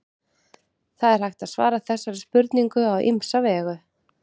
það er hægt að svara þessari spurningu á ýmsa vegu